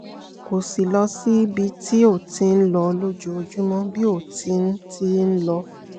kò sì lọ síbi tí ó ti ń lọ lójoojúmọ́ bí ó ti ń ti ń lọ